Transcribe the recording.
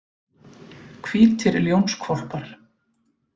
Hvítir ljónshvolpar.